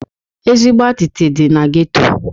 Ezigbo atịtị dị na geto.